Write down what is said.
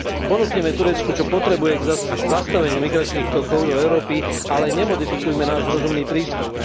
Ponúknime Turecku, čo potrebuje k zastaveniu migračných tokov do Európy, ale nemodifikujme náš rozumný prístup.